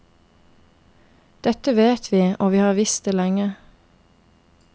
Dette vet vi, og vi har visst det lenge.